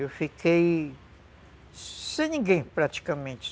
Eu fiquei sem ninguém, praticamente.